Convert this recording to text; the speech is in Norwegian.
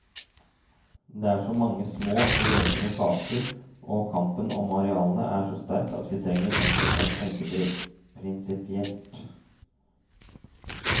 Det er så mange små, løpende saker, og kampen om arealene er så sterk at vi trenger en som kan tenke prinsipielt.